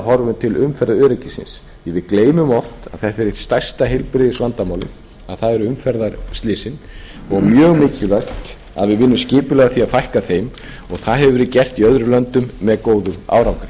horfum til umferðaröryggisins því að við gleymum oft að þetta er eitt stærsta heilbrigðisvandamálið það eru umferðarslysin og mjög mikilvægt að vinnum skipulega að því að fækka þeim og það hefur verið gert í öðrum löndum með góðum árangri